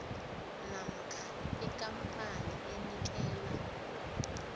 namkha ikampani enikela